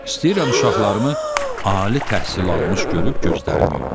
İstəyirəm uşaqlarımı ali təhsil almış görüb gözlərimi yumum.